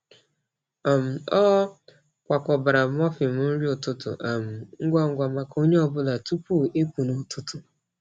um Ọ kwakọbara muffin nri ụtụtụ um ngwa ngwa maka onye ọ bụla tupu ịpụ n’ụtụtụ.